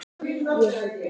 Ég heiti